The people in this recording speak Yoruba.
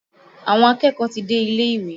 Àwọn akẹ́kọ̀ọ́ ti dé ilé-ìwé